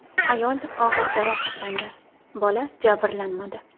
Ayol og‘ir jarohatlandi, bola jabrlanmadi.